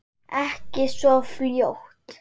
Ekki svo fljótt.